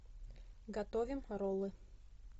готовим роллы